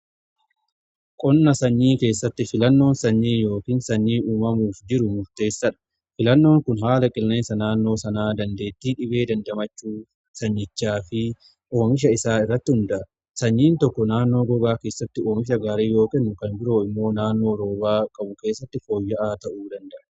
qonna sanyii keessatti filannoon sanyii yookiin sanyii uumamuuf jiru murteessaadha. filannoon kun haala qilleesa naannoo sanaa dandeettii dhibee dandamachuu sanyichaa fi oomisha isaa irratti hundaa'a. sanyiin tokko tokko naannoo gogaa keessatti oomisha gaarii yoo kennu kan biroo immoo naannoo rooba qabu keessatti fooyya'aa ta'uu danda'a.